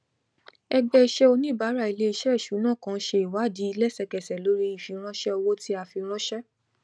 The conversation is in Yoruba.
ẹgbẹ iṣẹ oníbàárà iléiṣẹ ìṣúná kan ṣe ìwádìí lẹsẹkẹsẹ lórí ìfiránṣé owó tí a fi ránṣé